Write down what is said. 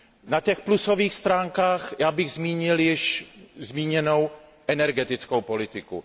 Na těch plusových stránkách bych já zmínil již zmíněnou energetickou politiku.